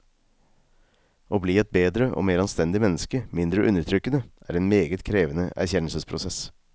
Å bli et bedre og mer anstendig menneske, mindre undertrykkende, er en meget krevende erkjennelsesprosess.